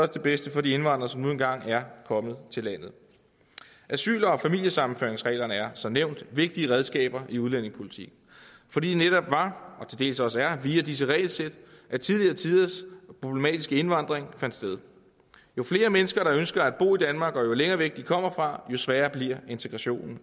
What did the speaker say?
det bedste for de indvandrere som nu engang er kommet til landet asyl og familiesammenføringsreglerne er som nævnt vigtige redskaber i udlændingepolitikken fordi det netop var og til dels også er via disse regelsæt at tidligere tiders problematiske indvandring fandt sted jo flere mennesker der ønsker at bo i danmark og jo længere væk de kommer fra jo sværere bliver integrationen